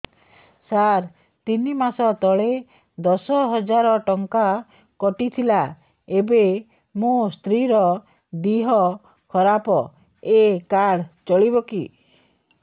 ସାର ତିନି ମାସ ତଳେ ଦଶ ହଜାର ଟଙ୍କା କଟି ଥିଲା ଏବେ ମୋ ସ୍ତ୍ରୀ ର ଦିହ ଖରାପ ଏ କାର୍ଡ ଚଳିବକି